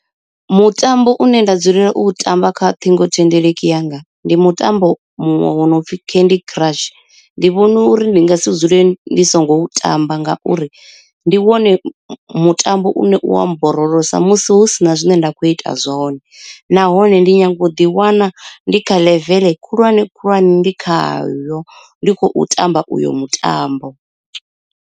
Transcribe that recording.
Mutambo une nda dzulela u tamba kha ṱhingothendeleki yanga ndi mutambo muṅwe wo no pfi candy crush. Ndi vhona uri ndi nga si dzule ndi songo u tamba ngauri ndi wone mutambo une u a mborolosa musi hu sina zwine nda kho ita zwone, nahone ndi nyanga u ḓi wana ndi kha ḽeveḽe khulwane khulwane ndi khayo ndi khou tamba uyo mutambo.